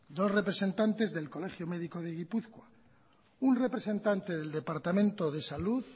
dos representantes del colegio médico de gipuzkoa un representante del departamento de salud